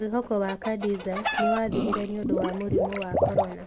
Mwĩhoko wa Khadiza nĩ wathirire nĩ ũndũ wa mũrimũ wa corona.